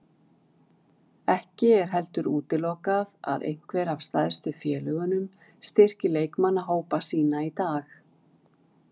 Ekki er heldur útilokað að einhver af stærstu félögunum styrki leikmannahópa sína í dag.